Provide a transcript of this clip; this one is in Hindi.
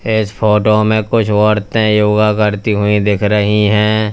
इस फोटो में कुछ औरतें योगा करती हुई दिख रही हैं।